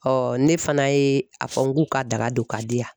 ne fana ye a fɔ n k'u ka daga don ka di yan.